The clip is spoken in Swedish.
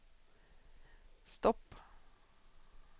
stopp